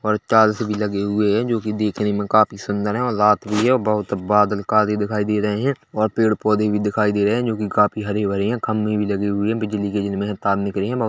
और टाईल्स भी लगे हुए है जो कि देखने में काफी सुंदर है और रात भी है और बादल बहोत काले दिखाई दे रहे है और पेड़-पौधे भी दिखाई दे रहे है जो कि काफी हरे-भरे है खम्भे भी लगे हुए है बिजली के जिनमें है तार निकरे है बहो --